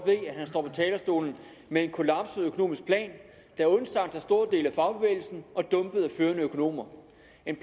talerstolen med en kollapset økonomisk plan der er undsagt af store dele af fagbevægelsen og dumpet af førende økonomer